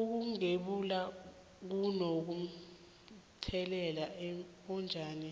ukugembula kuno mthelela onjani